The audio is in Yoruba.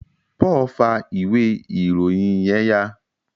Paul fa ìwé ìròyìn yén ya